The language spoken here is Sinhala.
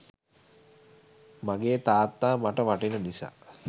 මගේ තාත්තා මට වටින නිසා.